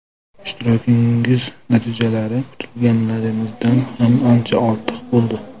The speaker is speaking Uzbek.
Ishtirokingiz natijalari kutganlarimizdan ham ancha ortiq bo‘ldi.